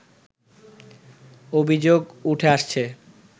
অভিযোগ উঠে আসছে